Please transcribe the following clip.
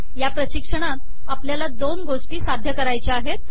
या प्रशिक्षणात आपल्याला दोन गोष्टी साध्य करायच्या आहेत